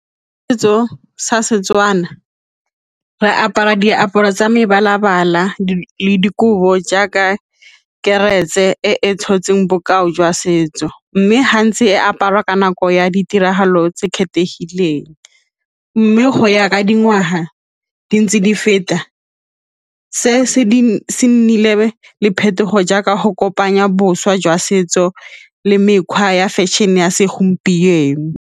Setso sa Setswana, re apara diaparo tsa mebala-bala, dikobo jaaka karetse e tshotseng bokao jwa setso mme gantsi e aparwa ka nako ya ditiragalo tse kgethegileng mme go ya ka dingwaga di ntse di feta se se nnile le phetogo jaaka go kopanya boswa jwa setso le mekgwa ya fashion-e ya segompieno.